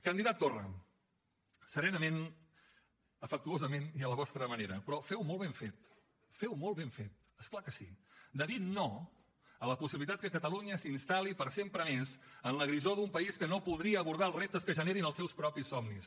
candidat torra serenament afectuosament i a la vostra manera però feu molt ben fet feu molt ben fet és clar que sí de dir no a la possibilitat que catalunya s’instal·li per sempre més en la grisor d’un país que no podria abordar els reptes que generin els seus propis somnis